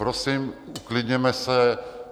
Prosím, uklidněme se.